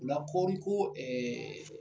O la kɔɔri ko